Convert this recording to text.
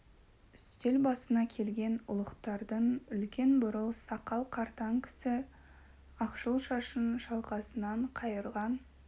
үстел басына келген ұлықтардың үлкен бурыл сақал қартаң кісі ақшыл шашын шалқасынан қайырған